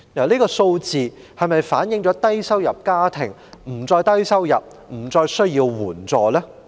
這是否反映低收入家庭不再低收入、不再需要援助？